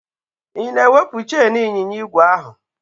Ị na-ewepụ cheịn ịnyịnya igwe ahụ?